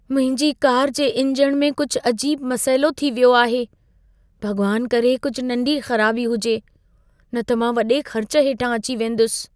मुंहिंजी कार जे इंजण में कुझु अजीब मसइलो थी वियो आहे। भॻवान करे कुझु नंढी ख़राबी हुजे, न त मां वॾे ख़र्च हेठां अची वेंदुसि।